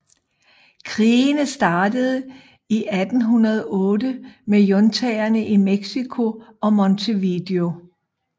Krigene startede i 1808 med juntaerne i México og Montevideo